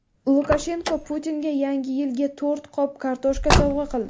Lukashenko Putinga Yangi yilga to‘rt qop kartoshka sovg‘a qildi.